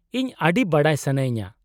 -ᱤᱧ ᱟᱹᱰᱤ ᱵᱟᱰᱟᱭ ᱥᱟᱱᱟᱭᱤᱧᱟᱹ ᱾